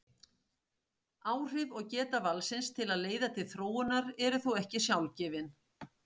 Áhrif og geta valsins til að leiða til þróunar eru þó ekki sjálfgefin.